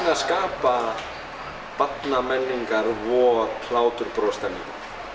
að skapa barnamenningar vor hlátur bros stemmingu